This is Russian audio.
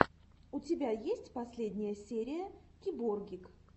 у тебя есть последняя серия киборгик